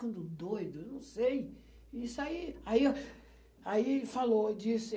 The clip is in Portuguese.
ficando doido. Isso aí, aí, aí falou, disse